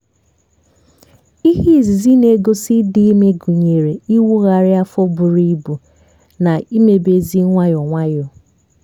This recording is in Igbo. ihe izizi na-egosi ịdị ime gụnyere ịwụgharị afọ buru ebu na imebezi nwayọọ nwayọọ